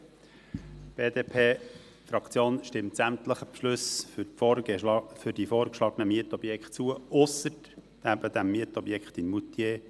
Die BDP-Fraktion stimmt sämtlichen Beschlüssen für die vorgeschlagenen Mietobjekte zu, ausser betreffend das Mietobjekt in Moutier.